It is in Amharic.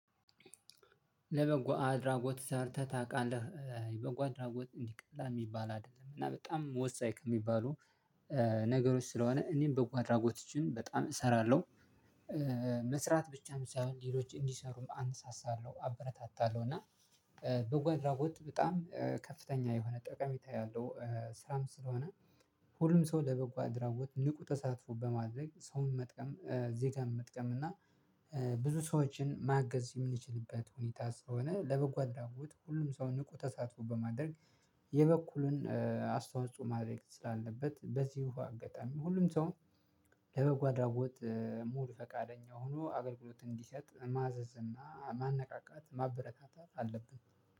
ለበጎ አድራጎት ሰርተህ ታቃለህ አይ በጎ አድራጎት እንዲ ቀላል ሚባል አደለም እና በጣም ወሳኝ ከሚባሉ ነገሮች ስለሆነ እኔም በጓ አድራጎቶችን በጣም እሰራለሁ። መስራት ብቻም ሳይሆን ሌሎች እንዲሰሩ አነሳሳለሁ አበረታታለሁ እና በጎ አድራጎት በጣም ከፍተኛ የሆነ ጠቀሜታ ያለው ስራም ስለሆነ። ሁሉም ሰው ለበጎ አድራጎት ንቁ ተሳትፎ በማድረግ ሰውን መጥቀም ዜጋን መጥቀም እና ብዙ ሰዎችን ማገዝ የምንችልበት ሁኔታ ስለሆነ ለበጎ አድራጎት ሁሉም ሰው ንቁ ተሳትፎ በማድረግ። የበኩልን አስተዋጽኦ ማድረግ ስላለበት በዚሁ አጋጣሚ ሁሉም ሰው ለበጎ አድራጎት ሙሉ ፈቃደኛ ሆኖ አገልግሎት እንዲሰጥ ማዘዝ እና ማነቃቃት ማበረታታት አለብን።